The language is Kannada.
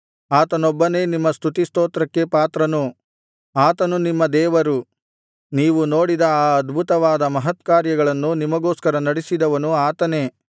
ಆತನೊಬ್ಬನೇ ನಿಮ್ಮ ಸ್ತುತಿ ಸ್ತೋತ್ರಕ್ಕೆ ಪಾತ್ರನು ಆತನು ನಿಮ್ಮ ದೇವರು ನೀವು ನೋಡಿದ ಆ ಅದ್ಭುತವಾದ ಮಹತ್ಕಾರ್ಯಗಳನ್ನು ನಿಮಗೋಸ್ಕರ ನಡಿಸಿದವನು ಆತನೇ